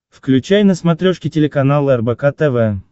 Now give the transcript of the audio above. включай на смотрешке телеканал рбк тв